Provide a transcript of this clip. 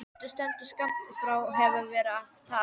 Gvendur stendur skammt frá og hefur verið að tala.